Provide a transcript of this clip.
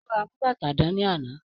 Ó ra amú bàtà rán ní àná